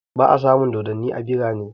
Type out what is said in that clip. Ba'a samun dodanni a birane